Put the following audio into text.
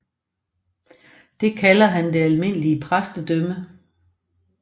Det kalder han det almindelige præstedømme